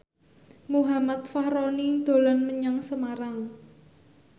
Muhammad Fachroni dolan menyang Semarang